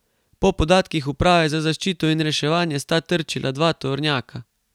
Po podatkih uprave za zaščito in reševanje sta trčila dva tovornjaka.